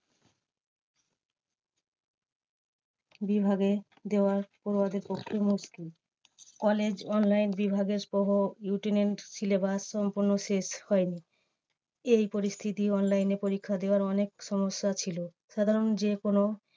বিভাগে দেওয়া পড়ুয়াদের পক্ষে মুশকিল। college online বিভাগের সহ syllabus সম্পূর্ণ শেষ হয়নি। এই পরিস্থিতি online এ পরীক্ষা দেওয়ার অনেক সমস্যা ছিল। সাধারণ যে কোনো